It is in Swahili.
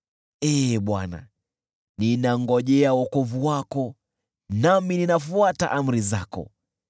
Ee Bwana , ninangojea wokovu wako, nami ninafuata amri zako,